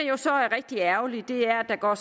jo så er rigtig ærgerligt er at der går